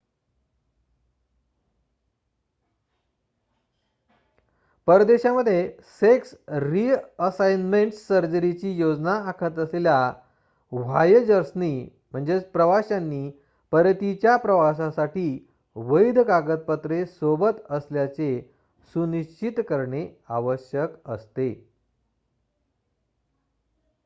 परदेशात sex reassignment सर्जरीची योजना आखत असलेल्या व्हॉएजर्सनी प्रवाश्यांनी परतीच्या प्रवासासाठी वैध कागदपत्रे सोबत असल्याचे सुनिश्चित करणे आवश्यक असते